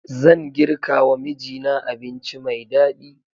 Zan girkawa mijina abinci mai daɗi